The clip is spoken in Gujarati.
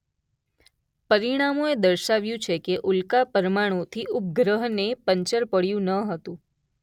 પરીણામોએ દર્શાવ્યું છે કે ઉલ્કા પરમાણુથી ઉપગ્રહને પંચર પડ્યું ન હતું.